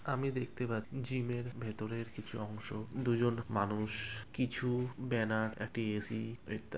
আমি দেখতে পা -- জিম -এর ভেতরের কিছু অংশ দুজন মানুষ কিছু ব্যানার একটি এ .সি. ইত্যাদি ।